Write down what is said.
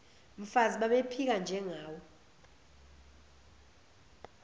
mfazi babephika njengawe